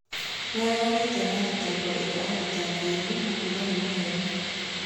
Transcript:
Nĩ areganĩte na thĩtango irĩa athitangĩirwo na kuga nĩ maheni.